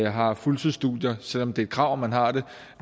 har fuldtidsstudier selv om det er et krav at man har det